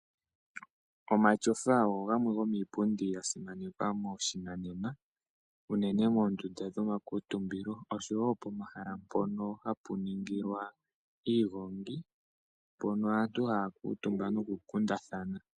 Omatyofa ogo gamwe gomiipundi ya simanekwa moshinanena . Unene moondunda dhomakuutumbilo osho woo pomahala mpono hapu ningilwa iigongi mpono aantu haya kuutumba noku kundathana.